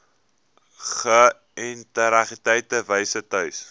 geïntegreerde wyse tuis